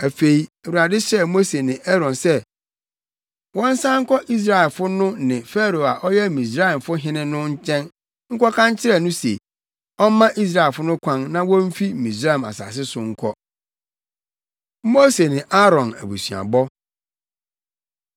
Afei, Awurade hyɛɛ Mose ne Aaron sɛ wɔnsan nkɔ Israelfo no ne Farao a ɔyɛ Misraimfo hene no nkyɛn nkɔka nkyerɛ no se ɔmma Israelfo no kwan na womfi Misraim asase so nkɔ. Mose Ne Aaron Abusuabɔ